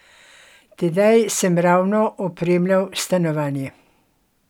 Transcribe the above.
Tedaj sem ravno opremljal stanovanje.